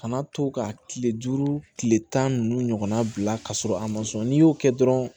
Kana to ka kile duuru kile tan ni nunnu ɲɔgɔnna bila ka sɔrɔ a ma sɔn n'i y'o kɛ dɔrɔn